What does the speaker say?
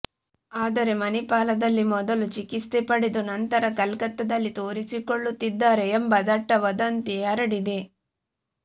ಆದರೆ ಮಣಿಪಾಲದಲ್ಲಿ ಮೊದಲು ಚಿಕಿತ್ಸೆ ಪಡೆದು ನಂತರ ಕಲ್ಕತ್ತಾದಲ್ಲಿ ತೋರಿಸಿಕೊಳ್ಳುತ್ತಿದ್ದಾರೆ ಎಂಬ ದಟ್ಟ ವದಂತಿ ಹರಡಿದೆ